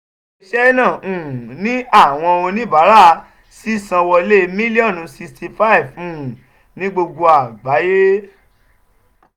ile-iṣẹ naa um ni awọn onibara ṣiṣanwọle miliọnu sixty five um ni gbogbo agbaye.